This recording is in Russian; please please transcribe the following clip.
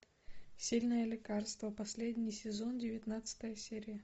сильное лекарство последний сезон девятнадцатая серия